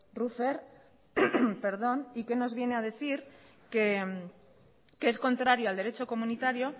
rüffer y que nos viene a decir que es contrario al derecho comunitario